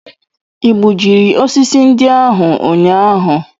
I gbujiri osisi ndị ahụ ụnyaahụ?